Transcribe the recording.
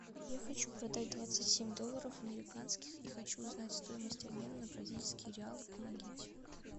я хочу продать двадцать семь долларов американских и хочу узнать стоимость обмена на бразильские реалы помогите